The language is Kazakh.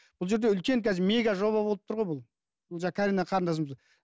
бұл жерде үлкен қазір мега жоба болып тұр ғой бұл жаңа карина қарындасымызға